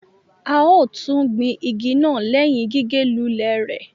A ò tún gbìn ìgi naa lẹhin gige lù lẹ rẹ